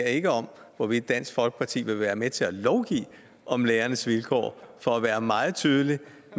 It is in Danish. ikke om hvorvidt dansk folkeparti vil være med til at lovgive om lærernes vilkår for at være meget tydelig